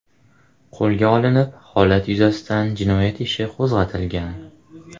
qo‘lga olinib, holat yuzasidan jinoyat ishi qo‘zg‘atilgan.